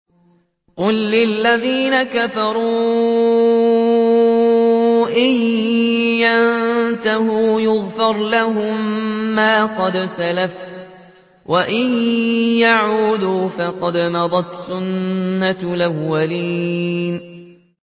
قُل لِّلَّذِينَ كَفَرُوا إِن يَنتَهُوا يُغْفَرْ لَهُم مَّا قَدْ سَلَفَ وَإِن يَعُودُوا فَقَدْ مَضَتْ سُنَّتُ الْأَوَّلِينَ